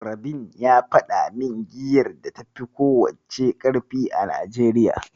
Rabin ya faɗa min giyar da tafi ko wacce ƙarfi a Najeriya.